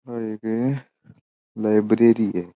ये एक एक लाइब्रेरी है।